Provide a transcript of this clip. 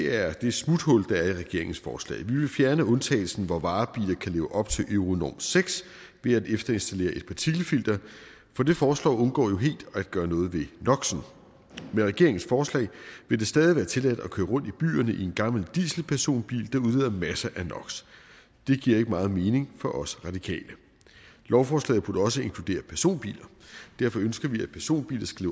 er det smuthul der er i regeringens forslag vi vil fjerne undtagelsen hvor varebiler kan leve op til euronorm seks ved at efterinstallere et partikelfilter for det forslag undgår jo helt at gøre noget ved noxen med regeringens forslag vil det stadig være tilladt at køre rundt i byerne i en gammel dieselpersonbil der udleder masser af nox det giver ikke meget mening for os radikale lovforslaget burde også inkludere personbiler derfor ønsker vi at personbiler skal